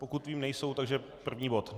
Pokud vím, nejsou, takže první bod.